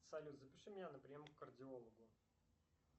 салют запиши меня на прием к кардиологу